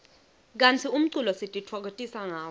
kantsi umculo sitifokotisa ngawo